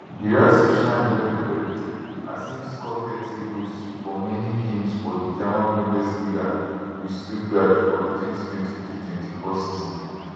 guirassy shine wellwell as im score thirty goals for many games for di german bundesliga wit stuttgart for di 202324 season